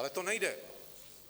Ale to nejde.